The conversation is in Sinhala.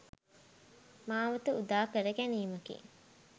මාවත උදා කර ගැනීමකි.